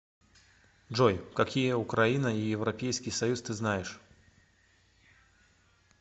джой какие украина и европейский союз ты знаешь